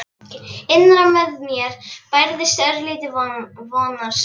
Innra með mér bærðist örlítill vonarneisti.